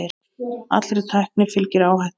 Allri tækni fylgir áhætta.